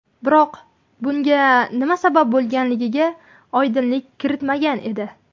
Biroq bunga nima sabab bo‘lganiga oydinlik kiritmagan edi.